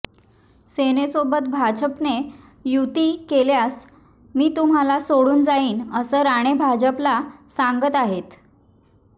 सेनेसोबत भाजपने युती केल्यास मी तुम्हाला सोडून जाईन असं राणे भाजपला सांगत आहेत